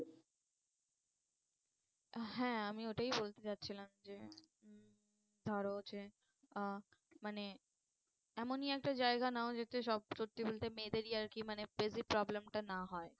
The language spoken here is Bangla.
হ্যাঁ আমি ওটাই বলতে যাচ্ছিলাম যে উম ধরো যে আহ মানে এমনি একটা জায়গায় নাও যাতে সব, সত্যি বলতে মেয়েদেরই আর কি মানে বেশি problem টা না হয়